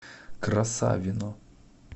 красавино